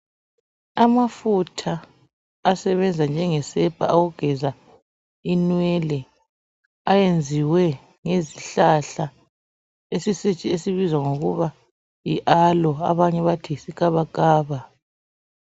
Amafutha asebenza njengesepa yokugeza inwele ayenziwe ngezihlahla esibizwa ngokuba yiAloe abanye bathi yisikabakaba.